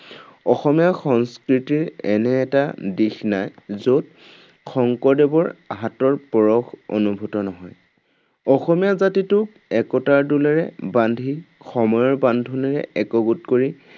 অসমীয়া সংস্কৃতিৰ এনে এটা দিশ নাই য’ত, শংকৰদেৱৰ হাতৰ পৰশ অনুভূত নহয়। অসমীয়া জাতিটোক একতাৰ ডোলেৰে বান্ধি সময়ৰ বান্ধোনেৰে একগোট কৰি।